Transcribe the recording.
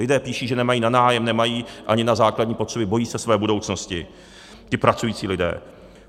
Lidé píší, že nemají na nájem, nemají ani na základní potřeby, bojí se své budoucnosti - ti pracující lidé.